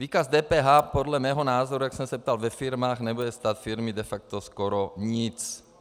Výkaz DPH podle mého názoru, jak jsem se ptal ve firmách, nebude stát firmy de facto skoro nic.